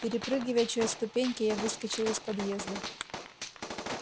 перепрыгивая через ступеньки я выскочил из подъезда